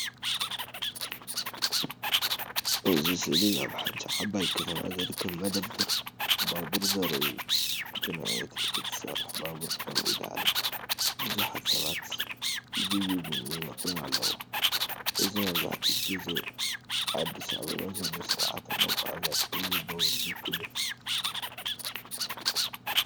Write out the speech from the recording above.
እዚ ስእሊ ኣብ ሓንቲ ዓባይ ከተማ ዝርከብ መደበር ባቡር ዘርኢ እዩ። ብናይ ኤሌክትሪክ እትሰርሕ ባቡር ደው ኢላ ኣላ፣ ብዙሓት ሰባት ይድይቡን ይወርዱን ኣለው። እዚ መብዛሕትኡ ግዜ ኣዲስ ኣበባ ዘሎ ስርዓተ መጓዓዝያ ቀሊል ባቡር ዝውክል እዩ።